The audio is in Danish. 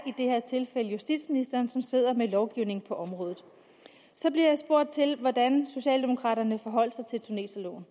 her tilfælde justitsministeren som sidder med lovgivningen på området så bliver jeg spurgt til hvordan socialdemokraterne forholdt sig til tuneserloven